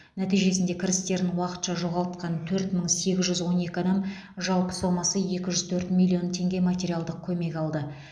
нәтижесінде кірістерін уақытша жоғалтқан төрт мың сегіз жүз он екі адам жалпы сомасы екі жүз төрт миллион теңге материалдық көмек алды